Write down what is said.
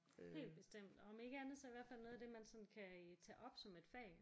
Helt bestemt og om ikke andet så i hvert fald noget af det man sådan kan tage op som et fag